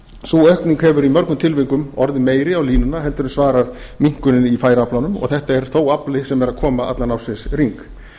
sú aukning hefur í mörgum tilvikum orðið meiri á línuna en svarar minnkuninni í færaaflanum og þetta er þó afli sem er að koma allan ársins hring